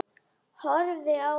Horfi á hann.